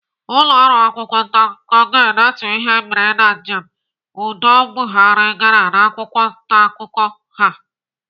Ụlọọrụ akwụkwọ ntaakụkọ ga-edetu ihe mere na njem udo Buhari gara n'akwụkwọ ntaakụkọ ha.